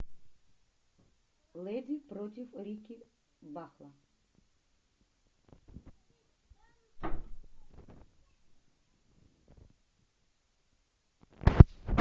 леди против рикки бахла